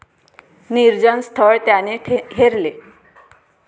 निर्जन स्थळ त्याने हेरले.